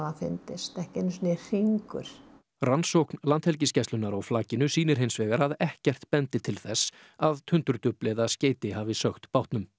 fundist ekki einu sinni hringur rannsókn Landhelgisgæslunnar á flakinu sýnir hins vegar að ekkert bendi til þess að tundurdufl eða skeyti hafi sökkt bátnum